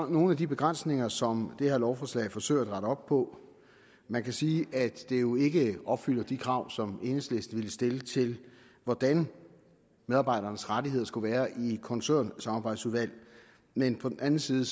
nogle af de begrænsninger som det her lovforslag forsøger at rette op på man kan sige at det jo ikke opfylder de krav som enhedslisten ville stille til hvordan medarbejdernes rettigheder skulle være i et koncernsamarbejdsudvalg men på den anden side